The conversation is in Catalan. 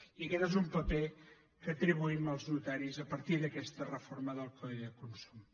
i aquest és un paper que atribuïm als notaris a partir d’aquesta reforma del codi de consum